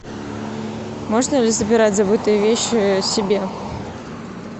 можно ли забирать забытые вещи себе